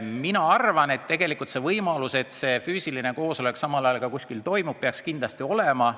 Minu arvates võimalus, et füüsiline koosolek samal ajal kuskil ka toimub, peaks kindlasti olema.